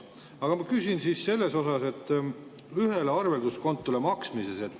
Aga ma küsin ühele arvelduskontole maksmise kohta.